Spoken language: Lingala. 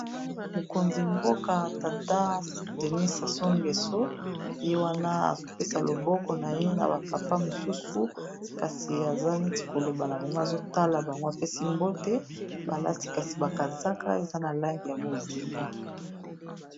Mokonzi mboka tata denis saso ngeso ye wana azopesa loboko na ye na ba papa mosusu kasi aza neti koloba na bango azotala bango apesi mbote balati kasi ba kazaka eza na langi ya bozinga.